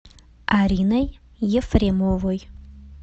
ариной ефремовой